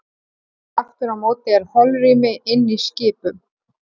Aftur á móti er holrými inni í skipum.